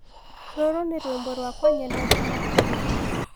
rũrũ ni rwĩmbo rwakwa nyendete makĩrĩa